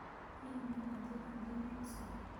Hihi nĩ ũgaathiĩ kanitha-inĩ rũciũ?